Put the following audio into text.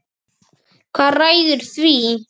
Hvað ræður því?